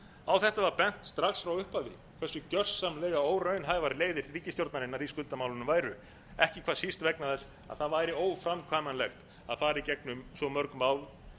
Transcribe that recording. á þetta var bent strax í upphafi hversu gjörsamlega óraunhæfar leiðir ríkisstjórnarinnar í skuldamálum væru ekki hvað síst vegna þess að það væri óframkvæmanlegt að fara í gegnum svo mörg mál